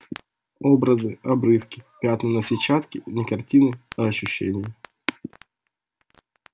образы-обрывки пятна на сетчатке не картины а ощущения